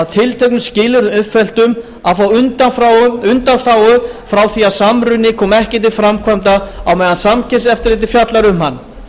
tilteknum skilyrðum uppfylltum að fá undanþágu frá því að samruni komi ekki til framkvæmda á meðan samkeppniseftirlitið fjallar um hann